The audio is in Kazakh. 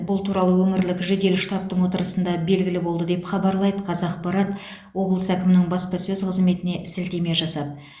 бұл туралы өңірлік жедел штабтың отырысында белгілі болды деп хабарлайды қазақпарат облыс әкімінің баспасөз қызметіне сілтеме жасап